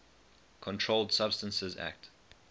controlled substances acte